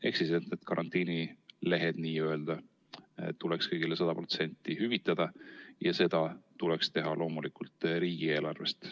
Ehk siis need n-ö karantiinilehed tuleks kõigile 100% ulatuses hüvitada ja seda tuleks teha loomulikult riigieelarvest.